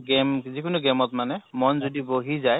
game যিকোনো game ত মানে মন যদি বহি যায়